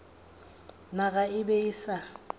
naga e be e sa